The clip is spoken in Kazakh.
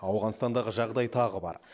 ауғанстандағы жағдай тағы бар